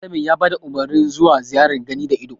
Malamin ya bada Umarnin zuwa ziyarar gani da ido